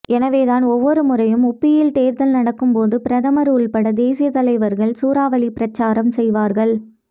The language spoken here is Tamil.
எனவேதான் ஒவ்வொரு முறையும் உபியில் தேர்தல் நடக்கும்போது பிரதமர் உள்பட தேசிய தலைவர்கள் சூறாவளி பிரச்சாரம் செய்வார்கள்